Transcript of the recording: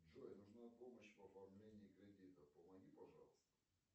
джой нужна помощь в оформлении кредита помоги пожалуйста